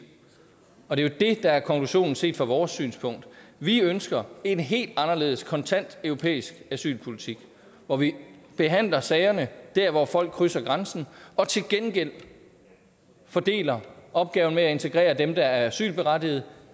og det er jo det der er konklusionen set fra vores synspunkt vi ønsker en helt anderledes kontant europæisk asylpolitik hvor vi behandler sagerne dér hvor folk krydser grænsen og til gengæld fordeler opgaven med at integrere dem der er asylberettigede